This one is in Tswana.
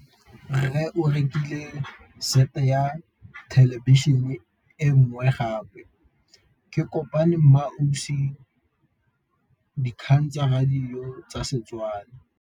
Rre o rekile sete ya thêlêbišênê e nngwe gape. Ke kopane mmuisi w dikgang tsa radio tsa Setswana.